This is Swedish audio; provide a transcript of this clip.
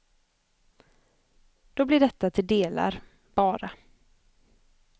Då blir detta till delar, bara.